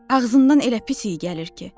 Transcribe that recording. Ağzından elə pis iy gəlir ki.